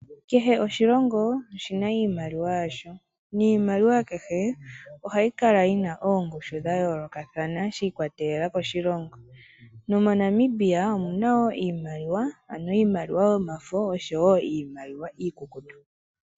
Kehe oshilongo oshina iimaliwa yasho, niimaliwa kehe ohayi kala yina oongushhu dha yoolokathana shi ikwatelela koshilongo. NomoNamibia omuna wo iimaliwa, ano iimaliwa yomafo osho wo iimaliwa iikukutu.